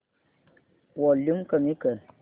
volume कमी कर